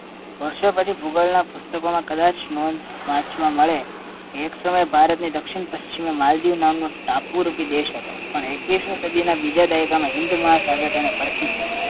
વર્ષો પછી ભૂગોળના પુસ્તકોમાં કદાચ નોંધ વાંચવા મળે કે એક સમયે ભારતની દક્ષિણ પશ્ચિમમાં માલદીવ નામનો ટાપુ રૂપી દેશ હતો પણ એકવીસમી સદીના બીજા દાયકામાં હિન્દ મહાસાગર તેને ભરખી ગયો